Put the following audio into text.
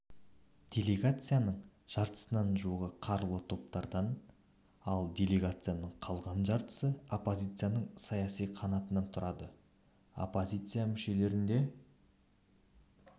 делегацияның жартысына жуығы қарулы топтардан ал делегацияның қалған жартысы оппозицияның саяси қанатынан тұрады оппозиция мүшелерін де